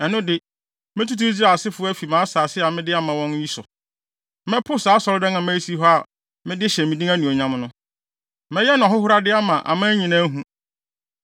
ɛno de, metutu Israelfo ase afi mʼasase a mede ama wɔn yi so. Mɛpo saa Asɔredan a mayi asi hɔ a mede hyɛ me din anuonyam no. Mɛyɛ no ahohorade ama aman nyinaa ahu.